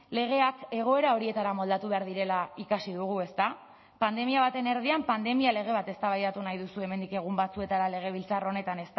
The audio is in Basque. legeak egoera horietara moldatu behar direla ikasi dugu ezta pandemia baten erdian pandemia lege bat eztabaidatu nahi duzue hemendik egun batzuetara legebiltzar honetan